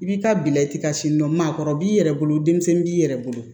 I bi taa bila i ka sini maakɔrɔ b'i yɛrɛ bolo denmisɛnnin b'i yɛrɛ bolo